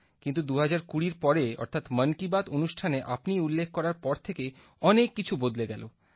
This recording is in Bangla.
কিন্তু ২০২০ এর পরে অর্থাৎ মন কি বাত অনুষ্ঠানে আপনি উল্লেখ করার পর থেকে অনেক কিছু বদলে গেল